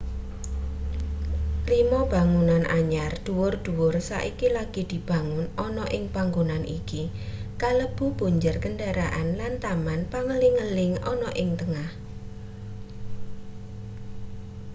lima bangunan anyar dhuwur-dwuhur saiki lagi dibangun ana ing panggonan iki kalebu punjer kendharaan lan taman pengeling-eling ana ing tengah